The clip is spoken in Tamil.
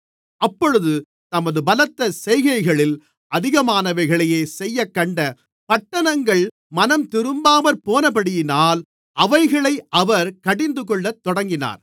அப்பொழுது தமது பலத்த செய்கைகளில் அதிகமானவைகளைச் செய்யக்கண்ட பட்டணங்கள் மனந்திரும்பாமற்போனபடியினால் அவைகளை அவர் கடிந்துகொள்ளத் தொடங்கினார்